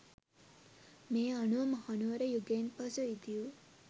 මේ අනුව මහනුවර යුගයෙන් පසු ඉදිවූ